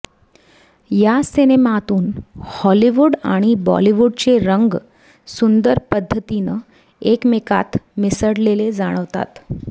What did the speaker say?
या सिनेमातून हॉलिवूड आणि बॉलिवूडचे रंग सुंदर पद्धतीनं एकमेकांत मिसळलेले जाणवतात